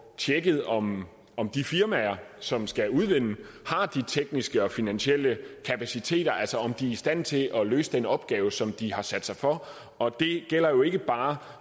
tjekket om om de firmaer som skal udvinde har de tekniske og finansielle kapaciteter altså om de er i stand til at løse den opgave som de har sat sig for og det gælder ikke bare